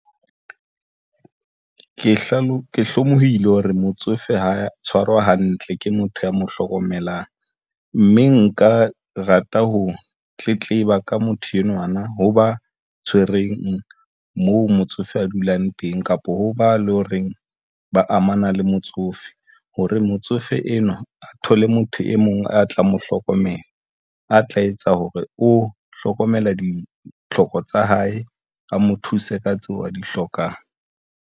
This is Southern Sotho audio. Ke hlolohile hore motsofe ho tshwarwa hantle ke motho ya mo hlokomelang mme nka rata ho tletleba ka motho enwa na, hoba tshwereng moo motsofe a dulang teng, kapa ho ba le horeng ba amana le motsofe. Hore motsofe enwa a thole motho e mong a tla mo, hlokomela a tla etsa hore o hlokomela ditlhoko tsa hae a mo thuse ka tseo a di hlokang.